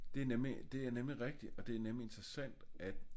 Det er det er nemlig rigtig og det er nemlig interessant at